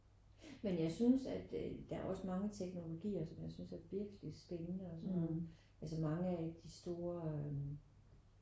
Men jeg synes at øh der er også mange teknologier som jeg synes er virkelig spændende og som altså mange af de store øh